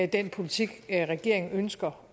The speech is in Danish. den politik regeringen ønsker